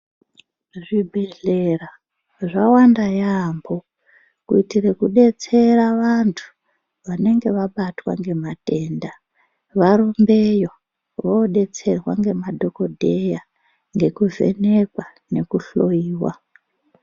Zvibhehlera zvawanda yamho kuitire kudetsera vanhu vanenge vabatwa ngematenda varumbeyo voodetserwa ngemadhokodheya ngekuvhenekwa nekuhloyiwa.